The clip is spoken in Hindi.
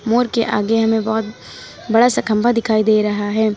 मोर के आगे हमें बहोत बड़ा सा खंबा दिखाई दे रहा है।